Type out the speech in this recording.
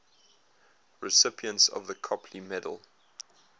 recipients of the copley medal